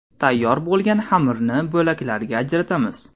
Tayyor bo‘lgan xamirni bo‘laklarga ajratamiz.